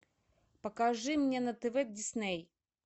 покажи мне на тв дисней